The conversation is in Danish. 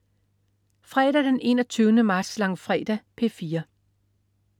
Fredag den 21. marts. Langfredag - P4: